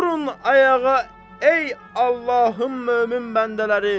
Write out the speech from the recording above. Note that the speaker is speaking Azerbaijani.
Durun ayağa ey Allahın mömin bəndələri.